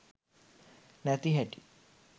නැති හැටි.